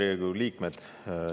Head Riigikogu liikmed!